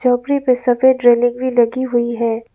झोपड़ी पे सफेद रेलिंग भी लगी हुई है।